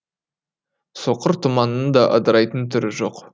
соқыр тұманның да ыдырайтын түрі жоқ